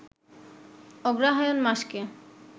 অগ্রহায়ণ মাসকে